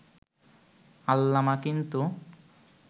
আল্লামা কিন্তু